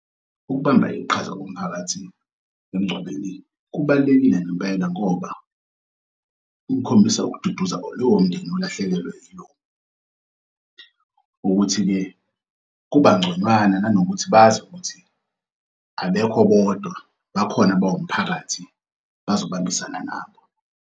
Ukubamba iqhaza komphakathi emngcwabeni kubalulekile ngempela ngoba, kukhombisa ukududuza kulowo mndeni olahlekelwe ukuthi-ke kubangconywana nanokuthi bazi ukuthi abekho bodwa bakhona bawumphakathi bazobambisana nabo.